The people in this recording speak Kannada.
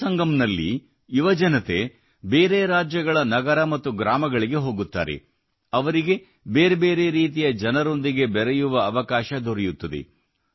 ಯುವಸಂಗಮ್ ನಲ್ಲಿ ಯುವಜನತೆ ಬೇರೆ ರಾಜ್ಯಗಳ ನಗರ ಮತ್ತು ಗ್ರಾಮಗಳಿಗೆ ಹೋಗುತ್ತಾರೆ ಅವರಿಗೆ ಬೇರೆ ಬೇರೆ ರೀತಿಯ ಜನರೊಂದಿಗೆ ಬೆರೆಯುವ ಅವಕಾಶ ದೊರೆಯುತ್ತದೆ